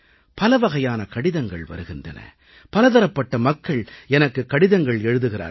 பலவகையான கடிதங்கள் வருகின்றன பலதரப்பட்ட மக்கள் எனக்குக் கடிதங்கள் எழுதுகிறார்கள்